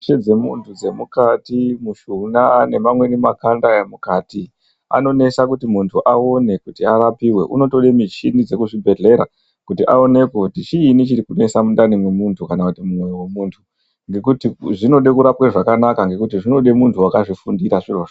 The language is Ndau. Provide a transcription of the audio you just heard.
Zvese zvemuntu zvemukati makanda nemushuna wemukati anonesa kuti muntu aone kuti apone anotoda michini dzekuzvibhedhlera kuti aonekwe kuti chini chiri kunetsa mundani memuntu kana mumwoyo wemuntu ngekuti zvinoda kurapwa zvakanaka ngekuti zvinoda muntu akazvifundira zvirozvo.